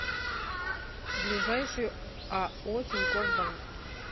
ближайший ао тинькофф банк